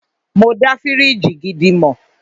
Mọ dá fíríjì gidi mọ̀.